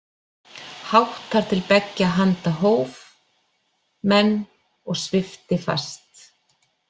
Hátt þar til beggja handa hóf menn og svipti fast.